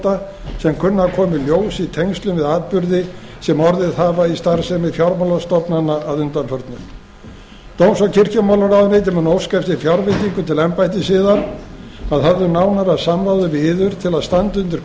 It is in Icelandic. kunna að koma í ljós í tengslum við atburði sem orðið hafa í starfsemi fjármálastofnana að undanförnu dóms og kirkjumálaráðuneytið mun óska eftir fjárveitingu til embættis yðar að höfðu nánara samráði við yður til að standa undir